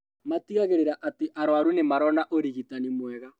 Matigagĩrĩra atĩ arũaru nĩmarona ũrigitani mwega